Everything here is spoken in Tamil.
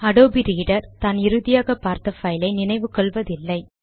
அடோபி ரீடர் தான் இறுதியாக பார்த்த பைல் ஐ நினைவு கொள்வதில்லை